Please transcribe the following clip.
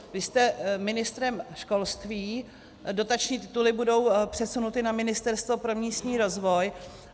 Vy jste ministrem školství, dotační tituly budou přesunuty na Ministerstvo pro místní rozvoj.